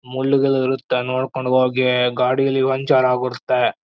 ಮುಳ್ಳುಗಳು ಇರುತ್ತೆ ನೋಡ್ಕೊಂಡು ಹೋಗಿ ಗಾಡಿಲಿ ಪಂಚರ್ ಆಗುತ್ತೆ.